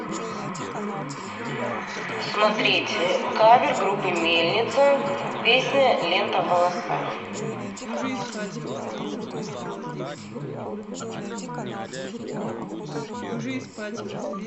смотреть кавер группы мельница песня лента в волосах